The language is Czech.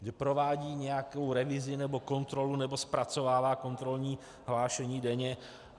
Že provádí nějakou revizi nebo kontrolu nebo zpracovává kontrolní hlášení denně.